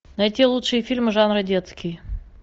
найти лучшие фильмы жанра детский